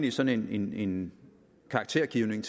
i sådan en en karaktergivning